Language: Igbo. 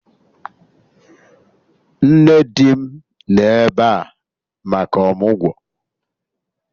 Nne di m nọ ebe a maka ọmụgwọ